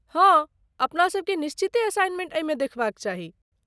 हँ, अपनासभ केँ निश्चिते असाइनमेंट एहिमे देखबाक चाही।